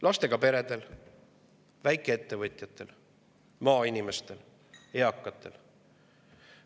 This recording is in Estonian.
Lastega peredel, väikeettevõtjatel, maainimestel, eakatel.